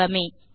சுலபமே